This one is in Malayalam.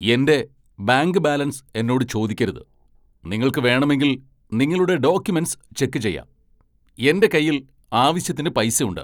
എന്റെ ബാങ്ക് ബാലൻസ് എന്നോട് ചോദിക്കരുത്. നിങ്ങൾക്ക് വേണമെങ്കിൽ നിങ്ങളുടെ ഡോക്യൂമെന്റ്സ് ചെക്ക് ചെയ്യാം. എന്റെ കയ്യിൽ ആവശ്യത്തിന് പൈസ ഉണ്ട് .